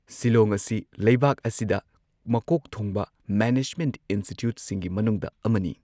ꯁꯤꯂꯣꯡ ꯑꯁꯤ ꯂꯩꯕꯥꯛ ꯑꯁꯤꯗ ꯃꯀꯣꯛ ꯊꯣꯡꯕ ꯃꯦꯅꯦꯖꯃꯦꯟꯠ ꯏꯟꯁꯇꯤꯇ꯭ꯌꯨꯠꯁꯤꯡꯒꯤ ꯃꯅꯨꯡꯗ ꯑꯃꯅꯤ꯫